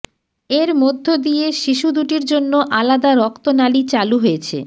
এর মধ্য দিয়ে শিশু দুটির জন্য আলাদা রক্তনালি চালু হয়েছে